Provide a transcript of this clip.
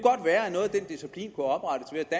ind og